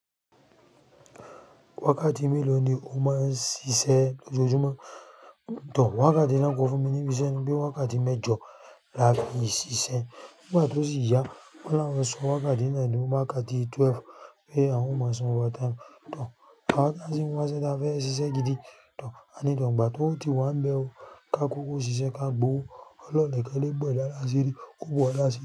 Wákàtí mélòó ni o máa ń ṣiṣẹ́ lójoojúmọ́? Tọọ̀, wákàtí náà kò fún mi ní ibiṣẹ́ bí i wákàtí mẹ́jọ láti ṣiṣẹ́. Nígbà tó sì yá, ó lára wọn sọ wákàtí náà ní wákàtí twelve pé àwọn ó máa san overtime. Tàn, wákàtí tí wọn fẹ́ ṣe dáá fẹ́ ṣiṣẹ́ gidi. Tàn, a ní tàn, ìgbà tí ó ti wá ń bẹ́ ọ, ká kúrò ṣiṣẹ́ ká gbowó. Ó lọ lẹ́kọ̀ọ́ bẹ ọ̀dà lásìírí, ó bọ̀ lásìírí.